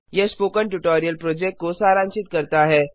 यह spoken tutorial project को सारांशित करता है